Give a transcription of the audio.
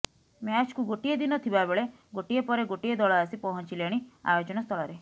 ମ୍ୟାଚ୍କୁ ଗୋଟିଏ ଦିନ ଥିବାବେଳେ ଗୋଟିଏ ପରେ ଗୋଟିଏ ଦଳ ଆସି ପହଞ୍ଚିଲେଣି ଆୟୋଜନ ସ୍ଥଳରେ